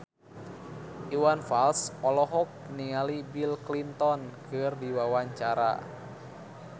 Iwan Fals olohok ningali Bill Clinton keur diwawancara